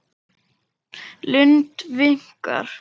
Lund viknar.